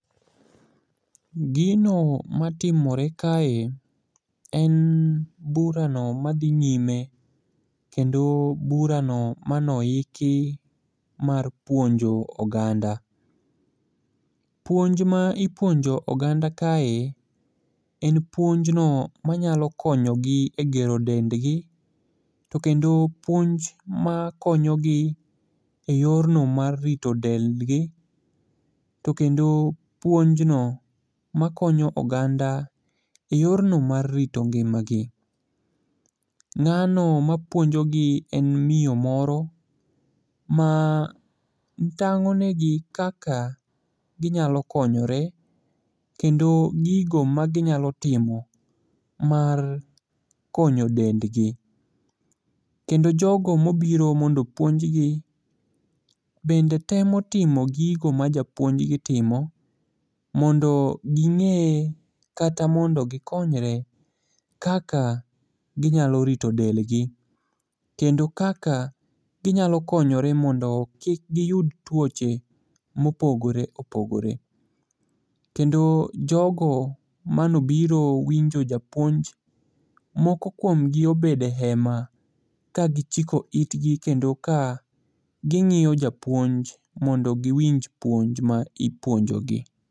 Gino matimore kae en burano madhi nyime kendo burano manoiki mar puonjo oganda. Puonj ma ipuonjo oganda kae en puonjno manyalo konyogi e gero dendgi, to kendo puonj makonyo gi e yorno mar rito dendgi, to kendo puonjno makonyo oganda e yorno mar rito ngimagi. Ng'ano mapuonjogi en miyo moro matang'o negi kaka ginyalo konyore kendo gigo maginyalo timo mar konyo dendgi, kendo jogo mobiro mondo opuonjgi bende temo timo gigo ma japuonjgi timo, mondo ging'e kata mondo gikonyre kaka ginyalo rito delgi, kendo kaka ginyalo konyore mondo kik giyud tuoche mopogore opogore. Kendo jogo manobiro winjo japuonj, moko kuomgi obedo e hema ka gichiko itgi kendo ka ging'iyo japuonj mondo giwinj puonj ma ipuonjogi.